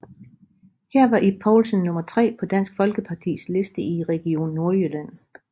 Her var Ib Poulsen nummer tre på Dansk Folkepartis liste i Region Nordjylland